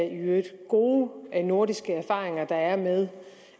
i øvrigt gode nordiske erfaringer der er med